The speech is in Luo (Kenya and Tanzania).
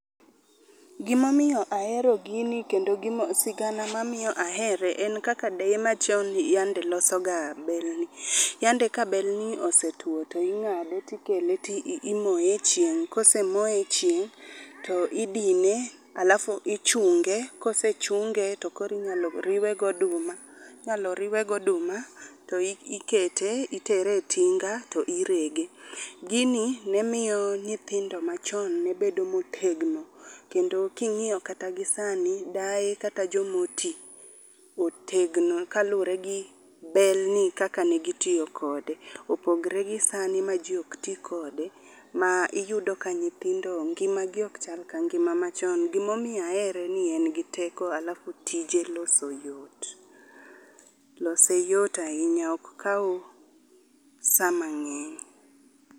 Gima omiyo ahero gini kendo sigana mamiyo ahere en kaka deye machon ne yande losoga bel ni. Yande ka belni osetuo to ing'ade to ikele to imoye e chieng'. Kose moye e chieng' to idine alafu ichunge. Kose chunge to koro inyalo riwe gi oduma. Inyalo riwe gi oduma to ikete itere e tinga to irege. Gini ne miyo nyithindo machon ne bedo motegno kendo ka ing'iyo kata gi sani, deye kata joma oti otegno kaluwore gi belni kaka ne gitiyo kode. Opogore gi sani ma ji ok ti kode. Ma iyudo ka nyithindo ngimagi ok chal ka ngima machon. Gima omiyo ahere ni en gi teko alafu tije loso yot. Lose yot ahinya ok kaw sama ng'eny.